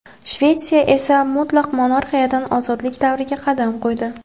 Shvetsiya esa mutlaq monarxiyadan ozodlik davriga qadam qo‘ydi.